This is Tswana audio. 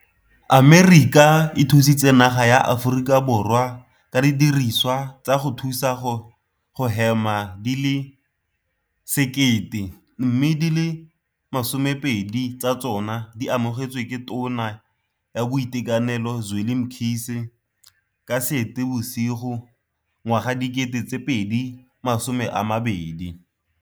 Amerika e thusitse naga ya Aforika Borwa ka didirisiwa tsa go thusa go hema di le 1 000, mme di le 20 tsa tsona di amogetswe ke Tona ya Boitekanelo Zweli Mkhize ka Seetebosigo 2020.